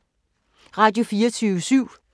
Radio24syv